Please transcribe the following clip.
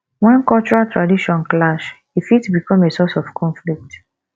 when cultural tradition clash e fit become a source of conflict